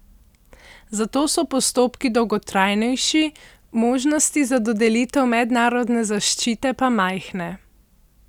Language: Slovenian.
Zato so postopki dolgotrajnejši, možnosti za dodelitev mednarodne zaščite pa majhne.